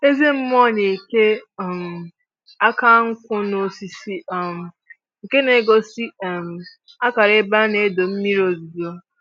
Eze mmụọ na-eke um aka nkwụ n'osisi um nke na-egosi um akara ebe a na-adọ mmiri ozuzo.